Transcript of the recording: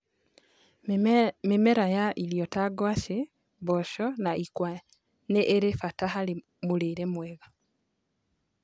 Mĩmera ya ĩrĩo ta ngwacĩ, mboco na ikwa ni irĩ bata hari murĩre mwega